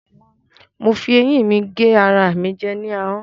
Mo fi ẹyín mi gé ara mi jẹ ní ahọ́n.